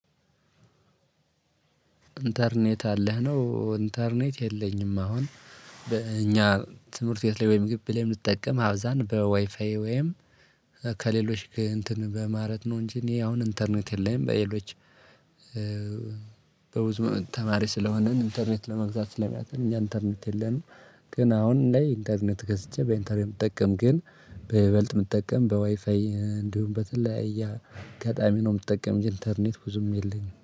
ኢንተርኔት አለህ? ነው ኢንተርኔት የለኝም። አሁን በእኛ ትምህርት ቤት ላይ ወይም ግቢ ላይ ምጠቀም አብዛን በዋይፋዬ ወይም ከሌሎች እንትን በማለት ነው እንጂ እኔ አሁን ኢንተርኔት የለኝም። በሌሎች በብዙ ተማሪ ስለሆንን ኢንተርኔት ለመግዛት ስለሚያቅተን እኛ ኢንተርኔት የለንም ግን አሁን ላይ ኢንተርኔት ገዝቼ በኢንተርኔት የምጠቀም ግን በይበልጥ የምትጠቀም በዋይፋይ እንዲሁም በተለያየ ገጣሚ ነው የምትጠቀም ኝ ኢንተርኔት ብዙም የለኝም።